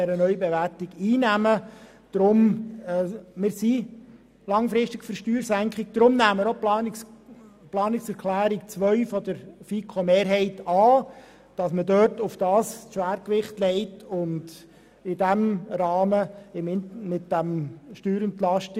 Weil wir jedoch langfristig Steuersenkungen unterstützen, nehmen wir auch die Planungserklärung 2 der FiKo-Mehrheit an, um das Schwergewicht auf diesen Bereich zu legen.